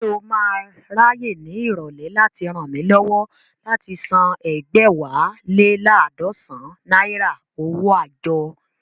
Ṣé o máa ráyè ní ìrọ̀lẹ́ láti ràn mí lọ́wọ́ láti san ẹ̀gbẹ́wá lé laadọsan náírà owó àjọ?